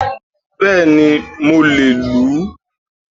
Béèni mo le è lù ú